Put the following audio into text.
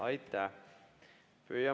Aitäh!